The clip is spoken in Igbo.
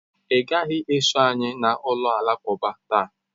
Ị gaghị eso anyị na ụlọ alakụba taa.